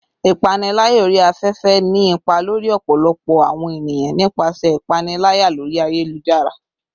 Ipanilaya ori afefe ni ipa lori ọpọlọpọ awọn eniyan nipasẹ ipanilaya lori ayelujara